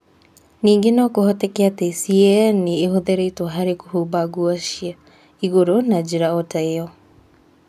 Ningĩ no kũhoteke atĩ C.A.N. nĩ ĩhũthĩrĩtwo harĩ kũhumba nguo cia igũrũ na njĩra o ta ĩyo.